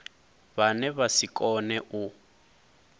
vhane vha si kone u